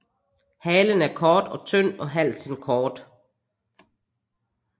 Halen er kort og tynd og halsen kort